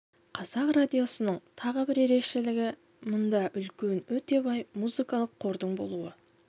қазақ радиосының тағы бір ерекшелігі мұнда үлкен өте бай музыкалық қордың болуы